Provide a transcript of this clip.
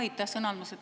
Aitäh sõna andmast!